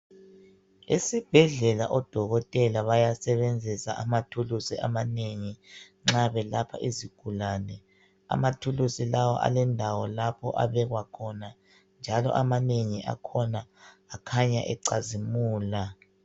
Esibhedlela odokotela bayasebenzisa amathulusi amanengi nxa belapha izigulane. Amathulusi lawa alendawo lapho abekwa khona njalo amanengi akhona akhanya ecazimula.